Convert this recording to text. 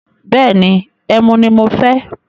Bẹ́ẹ̀ni, ẹmu ni mo fẹ́.